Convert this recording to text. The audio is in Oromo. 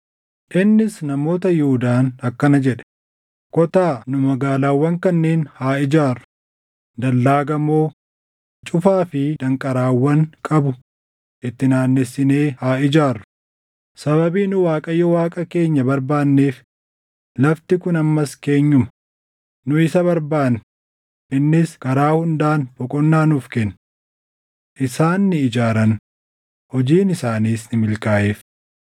Innis namoota Yihuudaan akkana jedhe; “Kottaa nu magaalaawwan kanneen haa ijaarru; dallaa gamoo, cufaa fi danqaraawwan qabu itti naannessinee haa ijaarru; sababii nu Waaqayyo Waaqa keenya barbaanneef lafti kun ammas keenyuma; nu isa barbaanne; innis karaa hundaan boqonnaa nuuf kenne.” Isaan ni ijaaran; hojiin isaaniis ni milkaaʼeef.